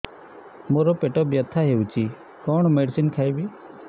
ମୋର ପେଟ ବ୍ୟଥା ହଉଚି କଣ ମେଡିସିନ ଖାଇବି